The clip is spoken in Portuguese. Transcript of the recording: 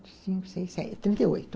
Cinco, seis, Trinta e oito.